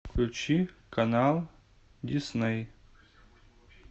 включи канал дисней